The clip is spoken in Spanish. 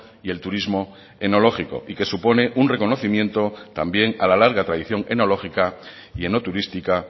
y el turismo enológico y que supone un reconocimiento también a la larga tradición enológica y enoturística